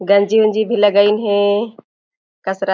गंजी उनजी भी लगइन हे कस र--